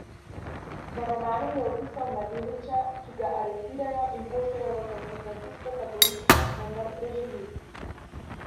V romanu je opisal mladeniča, ki ga aretirajo in pošljejo v koncentracijsko taborišče, vendar preživi.